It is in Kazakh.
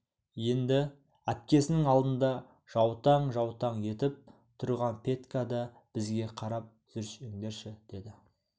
енді әпкесінің алдында жаутаң-жаутаң етіп тұрған петька да бізге қарап жүрсеңдерші деді